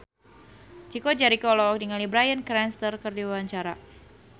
Chico Jericho olohok ningali Bryan Cranston keur diwawancara